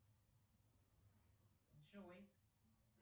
джой